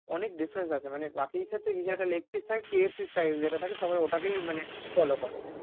অনেক difference আছে মানে বাকি এর সাথে একটা leg piece থাকে KFC size যেটা থাকে সবাই ওটা কেই মানে follow করে।